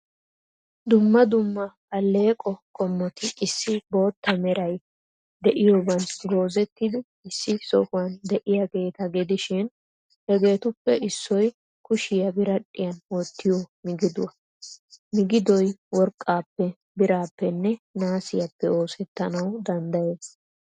Dumma dumma alleeqo qommoti issi bootta meray de'iyooban goozettidi issi sohuwan de'iyaageeta gidishin, hegeetuppe issoy kushiyaa biradhdhiyan wottiyoo migiduwa. Migidoy worqqaappee, biraappenne naasiyaappe oosettanawu danddayees.